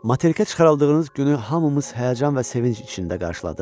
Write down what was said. Materikə çıxarıldığınız günü hamımız həyəcan və sevinc içində qarşıladıq.